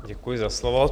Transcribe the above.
Děkuji za slovo.